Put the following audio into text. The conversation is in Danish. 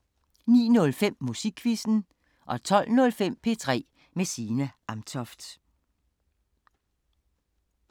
09:05: Musikquizzen 12:05: P3 med Signe Amtoft